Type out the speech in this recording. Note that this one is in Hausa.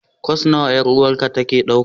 Course nawa 'yar'uwarki take dauka?